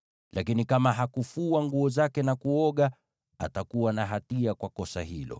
Lakini kama hakufua nguo zake na kuoga, atakuwa na hatia kwa kosa hilo.’ ”